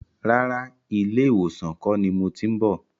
Rárá, ilé ìwòsàn kọ́ ni mo ti ń bọ̀.